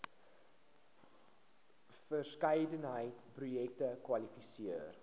verskeidenheid projekte kwalifiseer